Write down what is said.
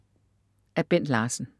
Af Bent Larsen